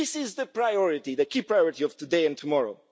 This is the priority, the key priority of today and tomorrow.